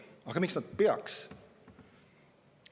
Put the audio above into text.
Aga miks nad peaksid?